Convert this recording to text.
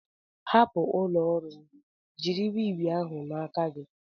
Hapụ ụlọ ọrụ m jiri wii wii ahụ n'aka gị!